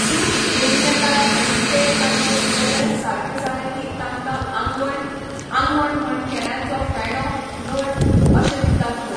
दूख घेवन येतात आनी तें ताचें सगळें सारकें जालें की तांकां आंगवण, आंगवण म्हण केळ्यांचो फेणो, घड अशें दितात लोक